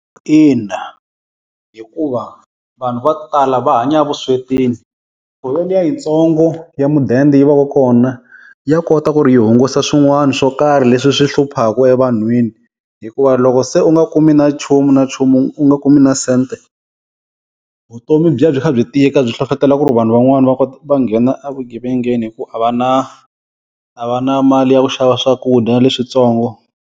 Ina hikuva vanhu va ku tala va hanya vuswetini, liya yitsongo ya mudende yi va ka kona ya kota ku ri yi hungusa swin'wana swo karhi leswi swi hluphaka evanhwini. Hikuva loko se u nga kumi na nchumu na nchumu u nga kumi na sente vutomi byi ya byi kha byi tika byi hlohletela ku ri vanhu van'wani va ko va nghena evugevengeni hi ku a va na a va na mali ya ku xava swakudya leswintsongo.